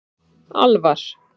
Alvar